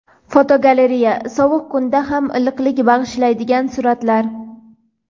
Fotogalereya: Sovuq kunda ham iliqlik bag‘ishlaydigan suratlar.